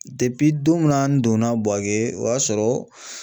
don min na n donna Buwake o y'a sɔrɔ